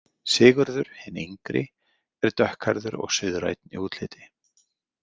Sigurður hinn yngri er dökkhærður og suðrænn í útliti.